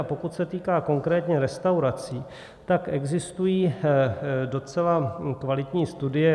A pokud se týká konkrétně restaurací, tak existují docela kvalitní studie.